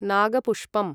नागपुष्पम्